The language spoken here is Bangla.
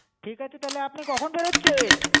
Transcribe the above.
ঠিক আছে আপনি কখন বেরোচ্ছেন?